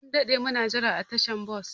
Mun daɗe muna jira a tashar bas.